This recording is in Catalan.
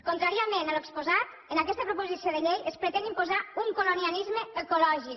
contràriament a allò que s’ha exposat en aquesta proposició de llei es pretén imposar un colonialisme ecològic